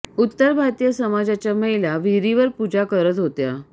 उत्तर भारतीय समाजाच्या महिला पूजा विहिरीवर पूजा करत होत्या